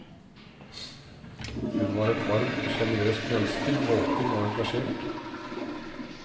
Hun var et varmt og generøst menneske, våken og engasjert.